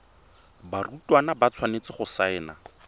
barutwana ba tshwanetse go saena